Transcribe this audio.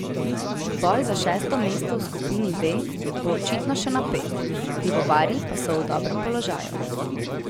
Boj za šesto mesto v skupini B bo očitno še napet, pivovarji pa so v dobrem položaju.